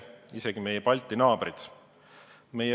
Seda kasutavad isegi meie Balti naabrid.